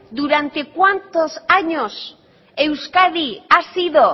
durante cuantos años euskadi ha sido